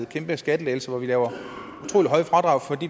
kæmpe skattelettelse hvor vi laver utrolig høje fradrag